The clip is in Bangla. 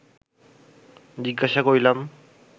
জিজ্ঞাসা করিলাম